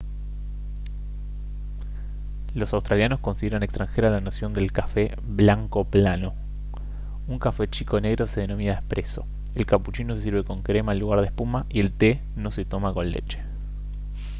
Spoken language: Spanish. los australianos consideran extranjera la noción del café «blanco plano». un café chico negro se denomina «espresso» el cappuccino se sirve con crema en lugar de espuma y el té no se toma con leche